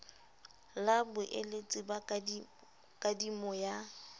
la boeletsi ba kadimo ya